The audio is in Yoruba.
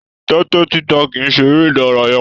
Tẹtẹ títa kìí ṣe eré ìdárayá.